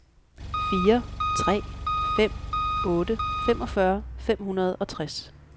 fire tre fem otte femogfyrre fem hundrede og tres